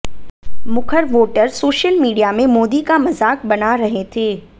मुखर voter social media में मोदी का मजाक बना रहे थे